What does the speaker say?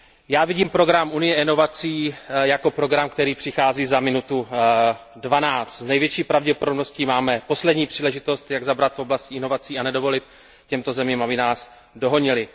Já vidím program Unie inovací jako program, který přichází za minutu dvanáct. S největší pravděpodobností máme poslední příležitost, jak zabrat v oblasti inovací a nedovolit těmto zemím, aby nás dohonily.